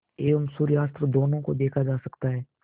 एवं सूर्यास्त दोनों देखा जा सकता है